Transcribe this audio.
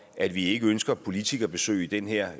at vi ikke ønsker politikerbesøg i den her